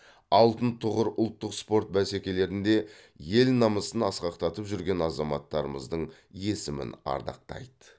алтын тұғыр ұлттық спорт бәсекелерінде ел намысын асқақтатып жүрген азаматтарымыздың есімін ардақтайды